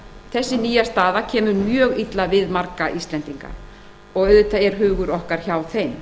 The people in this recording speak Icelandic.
þessi nýja staða kemur mjög illa við marga íslendinga og hugur okkar er hjá þeim